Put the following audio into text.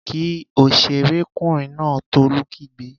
Kí òṣèré kùnrin náà! Tolú kígbe